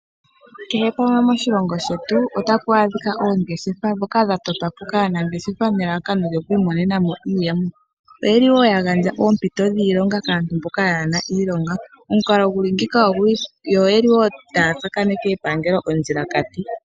Kehe pamwe moshilongo shetu otapu adhika oongeshefa dhoka dhatotwapo kaanangeshefa nelalakano lyokwiimonenamo iiyemo. Oyeli woo yagandja oompito dhiilonga kwaamboka kayena iilonga yo oyeli woo taya tsakaneke epangelo ondjila kati.